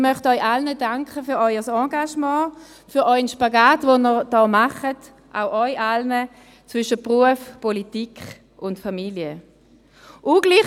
Ich möchte Ihnen allen für Ihr Engagement und für den Spagat zwischen Beruf, Politik und Familie, den Sie machen, danken.